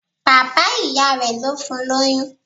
Bàbá ìyá rẹ̀ ló fún lóyún.